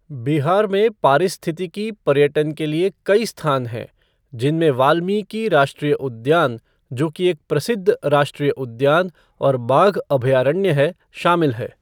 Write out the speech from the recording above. बिहार में पारिस्थितिकी पर्यटन के लिए कई स्थान हैं, जिनमें वाल्मीकि राष्ट्रीय उद्यान, जो कि एक प्रसिद्ध राष्ट्रीय उद्यान और बाघ अभयारण्य है, शामिल है।